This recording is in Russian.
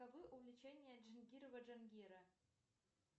увлечения джангирова джангира